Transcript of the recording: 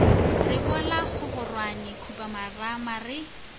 re bola kgororwane khupamarama re